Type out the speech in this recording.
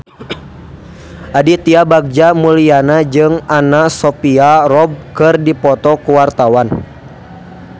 Aditya Bagja Mulyana jeung Anna Sophia Robb keur dipoto ku wartawan